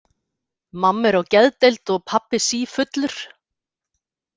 Mamma er á geðdeild og pabbi sífullur.